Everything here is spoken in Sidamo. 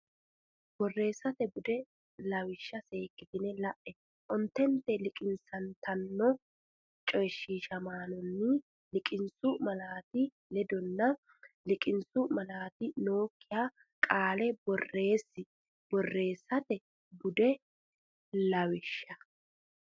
Borreessate Bude lawishsha seekkite la e ontente liqinsantanno coyshiishamaanonni liqinsu malaati ledonna liqinsu malaati nookkiha qaale borreessi Borreessate Bude lawishsha.